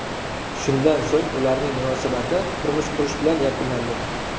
Shundan so‘ng ularning munosabati turmush qurish bilan yakunlandi.